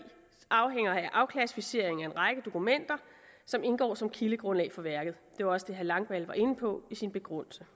afhænger af afklassificering af en række dokumenter som indgår som kildegrundlag for værket det var også det herre langballe var inde på i sin begrundelse